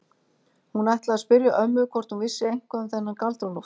Hún ætlaði að spyrja ömmu hvort hún vissi eitthvað um þennan Galdra-Loft.